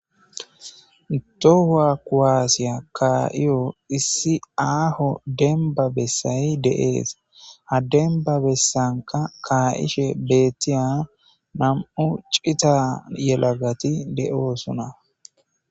Itohua kuwaasiya kaa7iyo issi aaho denba bessay de7ees ha denba bessanka kaa7ishe beettiya nam7u cita yelagati de7oosona.